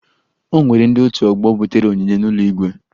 O nwere ndị otu ọgbọ butere onyinye n'ụlọ igwe